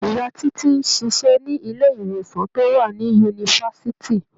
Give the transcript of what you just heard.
Ìyá Títí ń ṣiṣẹ́ ní ilé-ìwòsàn tó wà ní yunifásitì.